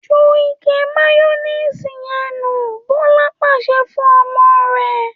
‘Ju ike máyó̩néèsì ye̩n nù!’, Bó̩la pàs̩e̩ fún o̩mo̩ rè̩